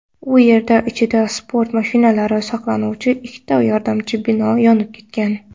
U yerda ichida sport mashinalari saqlanuvchi ikkita yordamchi bino yonib ketgan.